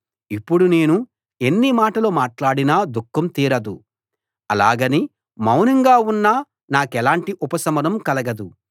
ఇప్పుడు నేను ఎన్ని మాటలు మాట్లాడినా దుఃఖం తీరదు అలాగని మౌనంగా ఉన్నా నాకెలాంటి ఉపశమనం కలగదు